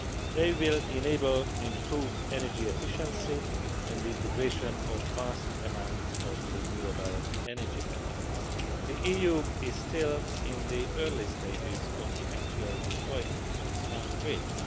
They will enable improved energy efficiency and the integration of vast amounts of renewable energy. The EU is still in the early stages of the actual deployment of smart grids.